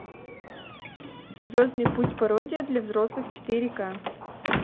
звездный путь пародия для взрослых четыре ка